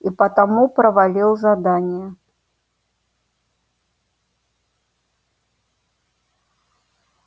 и потому провалил задание